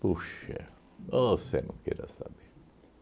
Puxa, você não queira saber.